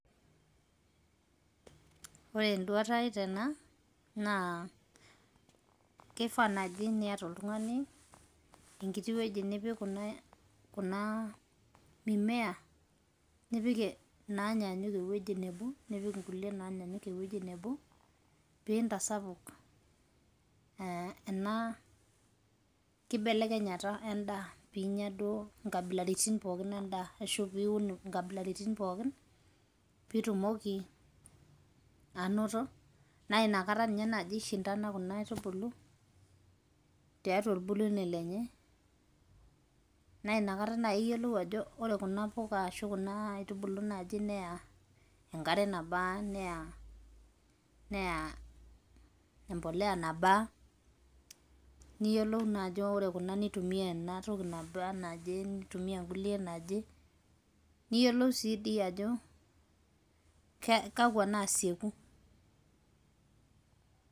Ore eduata ai tena, naa kifaa naji niata oltung'ani, enkiti weji nipik kuna mimea ,nipik inaanyanyuk ewueji nebo, nipik inkulie naanyanyuk ewueji nebo, piintasapuk ena kibelekenyata endaa, pinya duo inkabilaritin pookin endaa ashu piun inkabilaritin pookin, pitumoki anoto, na inakata nye nai ishindana kuna aitubulu, tiatua olbulunyei lenye. Na inakata nai iyiolou ajo ore kuna puka ashu kuna aitubulu nai neya enkare nabaa, neya empolea nabaa, niyiolou naajo ore kuna nitumia enatoki nabaa enaje, nitumia nkulie naba naje. Niyiolou si di ajo, kakwa naseku.